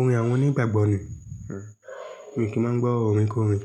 Orin àwọn onígbàgbọ́ ni, mi kì í máa ń gbọ́ orin kórìn